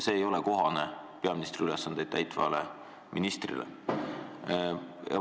See ei ole kohane peaministri ülesandeid täitvale ministrile.